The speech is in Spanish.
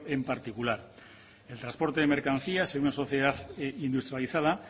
en particular el transporte de mercancías en una sociedad industrializada